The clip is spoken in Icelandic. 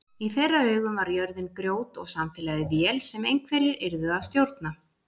Í þeirra augum var jörðin grjót og samfélagið vél sem einhverjir yrðu að stjórna.